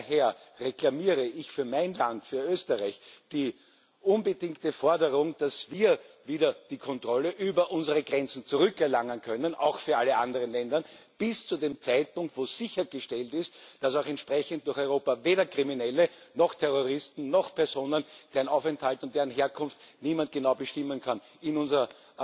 Daher reklamiere ich für mein Land für Österreich die unbedingte Forderung, dass wir wieder die Kontrolle über unsere Grenzen zurückerlangen können, auch für alle anderen Länder, bis zu dem Zeitpunkt, wo sichergestellt ist, dass weder Kriminelle noch Terroristen noch Personen, deren Aufenthalt und deren Herkunft niemand genau bestimmen kann, in unser